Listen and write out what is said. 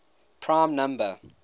prime number